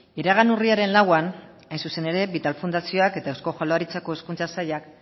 iragan urriaren lauan hain zuzen ere vital fundazioak eta eusko jaurlaritzako hezkuntza sailak